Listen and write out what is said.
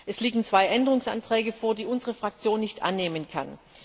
Es liegen zwei Änderungsanträge vor, die unsere Fraktion nicht annehmen kann.